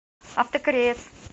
автокореец